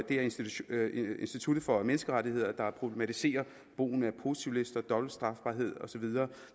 er institut institut for menneskerettigheder der problematiserer brugen af positivlister dobbelt strafbarhed og så videre